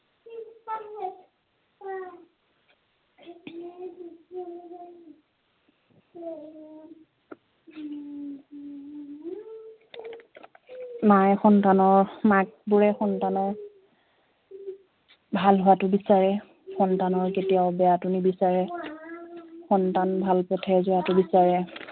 মায়ে সন্তানৰ মাকবোৰে সন্তানৰ ভাল হোৱাতো বিচাৰে সন্তানৰ কেতিয়াওঁ বেয়াটো নিবিচাৰে সন্তান ভাল পথে যোৱাটো বিচাৰে